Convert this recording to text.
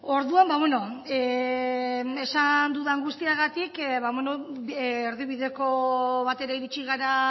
orduan esan dudan guztiagatik erdibideko batera iritsi gara